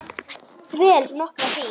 Dvel nokkra hríð.